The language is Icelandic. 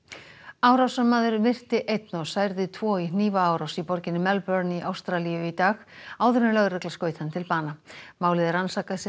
árásarmaður myrti einn og særði tvo í hnífaárás í borginni Melbourne í Ástralíu í dag áður en lögregla skaut hann til bana málið er rannsakað sem